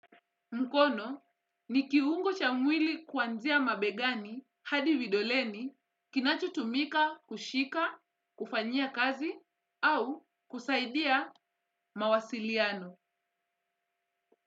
Mkono ni kiungo cha mwili kuanzia mabegani hadi vidoleni kinacho tumika kushika, kufanyia kazi au kusaidia mawasiliano.